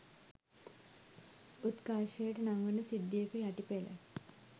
උත්කර්ෂයට නංවන සිද්ධියක යටි පෙළ